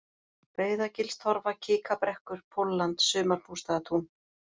Breiðagilstorfa, Kikabrekkur, Pólland, Sumarbústaðatún